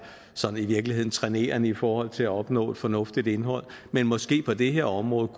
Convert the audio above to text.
sådan i virkeligheden trænerende i forhold til at opnå et fornuftigt indhold men måske på det her område